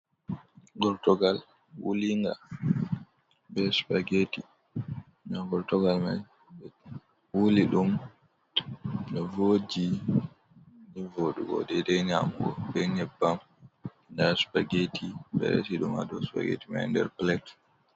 Gortugal wulinga be sumageti nda gortugal man ɓe wuli ɗum ɗo voji nivoɗugo. Dede nyamugo be nyebbam. Nda Supageti ɓe resi ɗum ha dau supageti man nder plet.